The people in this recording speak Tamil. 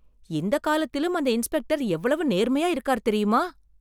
இந்த காலத்திலும் அந்த இன்ஸ்பெக்டர் எவ்வளவு நேர்மையா இருக்கார் தெரியுமா?